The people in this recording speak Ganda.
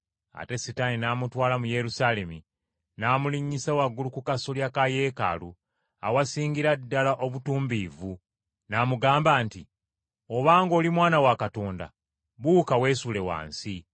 Ate Setaani n’amutwala mu Yerusaalemi, n’amulinnyisa waggulu ku kasolya ka Yeekaalu awasingira ddala obutumbiivu, n’amugamba nti, “Obanga oli Mwana wa Katonda, buuka weesuule wansi.